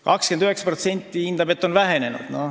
29% hindab, et see on vähenenud.